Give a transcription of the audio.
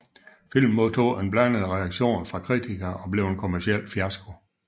Filmen modtog en blandet reaktion fra kritikere og blev en kommerciel fiasko